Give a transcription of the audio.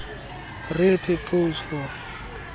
real purpose for